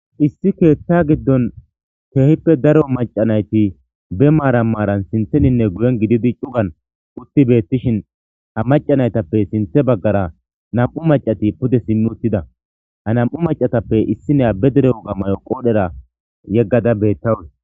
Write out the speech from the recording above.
Issi keetta giddon keehippe daro macanayti be maara maaran sintheninne guyen gididi cugan utti beettishin ha macanaytappe sinthe baggara nam'u macati pude simmi uttida hanam'u macatappe issineya bedere oga mayo qoodhera yeggada beettawus.